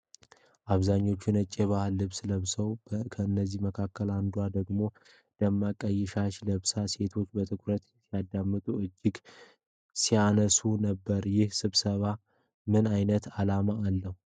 አብዛኛዎቹ ነጭ የባህል ልብስ ለብሰዋል፤ ከእነዚህም መካከል አንዷ ደግሞ ደማቅ ቀይ ሻሽ ለብሳለች። ሴቶቹ በትኩረት ሲያዳምጡና እጃቸውን ሲያነሱ ነበር። ይህ ስብሰባ ምን ዓይነት ዓላማ አለው?